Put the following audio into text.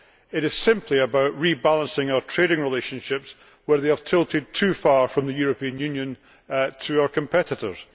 It is simply about rebalancing our trading relationships where they have tilted too far from the European Union towards our competitors.